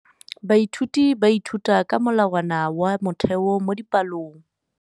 Baithuti ba ithuta ka molawana wa motheo mo dipalong.